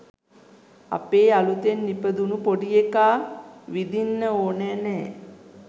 අපේ අලුතෙන් ඉපදුණු පොඩිඑකා විදින්න ඕන නෑ